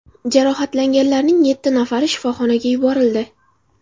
Jarohatlanganlarning yetti nafari shifoxonaga yuborildi.